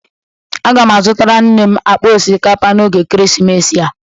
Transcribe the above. Aga m azụtara nne m akpa osikapa n'oge ekeresimesi a.